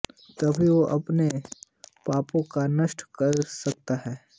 तभी वह अपने पापों कों नष्ट कर सकता है